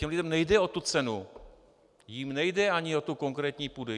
Těm lidem nejde o tu cenu, jim nejde ani o tu konkrétní půdu.